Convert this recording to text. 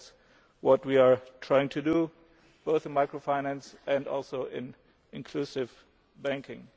to address these issues. That is what we are trying to do both in micro finance